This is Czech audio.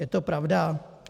Je to pravda?